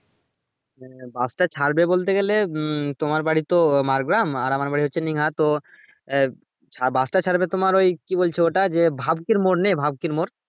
হ্যাঁ bus টা ছাড়বে বলতে গেলে মম তোমার বাড়ি তো মাড়গ্রাম আর আমার বাড়ি হচ্ছে তো এ bus টা ছাড়বে তোমার ওই কি বলছে ওটা যে ভাবটির মোর নেই ভাবটির মোর